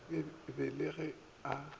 be e le ge a